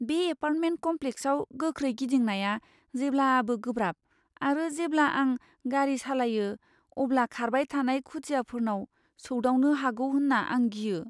बे एपार्टमेन्ट कम्प्लेक्सआव गोख्रै गिदिंनाया जेब्लाबो गोब्राब आरो जेब्ला आं गारि सालायो, अब्ला खारबाय थानाय खुदियाफोरनाव सौदावनो होगौ होन्नानै आं गियो।